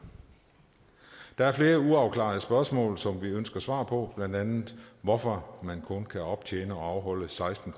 der er flere uafklarede spørgsmål som vi ønsker svar på blandt andet hvorfor man kun kan optjene og afholde seksten